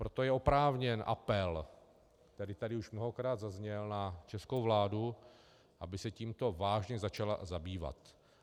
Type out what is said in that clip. Proto je oprávněný apel, který tady už mnohokrát zazněl, na českou vládu, aby se tímto vážně začala zabývat.